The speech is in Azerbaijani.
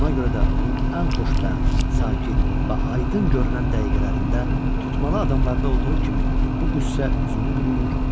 Buna görə də onun ən xoşbəxt, sakit və aydın görünən dəqiqələrində tutmalı adamlarda olduğu kimi bu qüssə üzünü bürüyür,